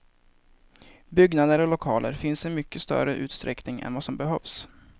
Byggnader och lokaler finns i mycket större utsträckning än vad som behövs.